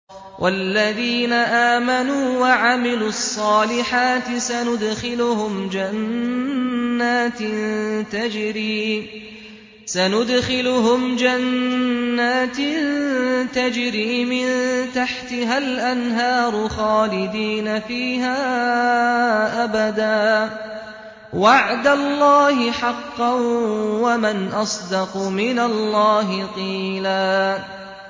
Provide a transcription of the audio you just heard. وَالَّذِينَ آمَنُوا وَعَمِلُوا الصَّالِحَاتِ سَنُدْخِلُهُمْ جَنَّاتٍ تَجْرِي مِن تَحْتِهَا الْأَنْهَارُ خَالِدِينَ فِيهَا أَبَدًا ۖ وَعْدَ اللَّهِ حَقًّا ۚ وَمَنْ أَصْدَقُ مِنَ اللَّهِ قِيلًا